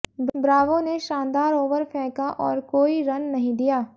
Bravo ने शानदार over फेंका और कोई रन नहीं दिया